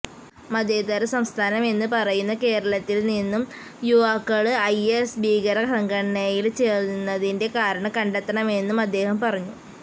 മതേതര സംസ്ഥാനം എന്ന് പറയുന്ന കേരളത്തില് നിന്നും യുവാക്കള് ഐഎസ്ഭീകര സംഘടനയില് ചേരുന്നതിന്റെ കാരണം കണ്ടെത്തണമെന്നും അദ്ദേഹം പറഞ്ഞു